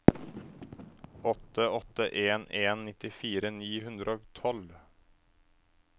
åtte åtte en en nittifire ni hundre og tolv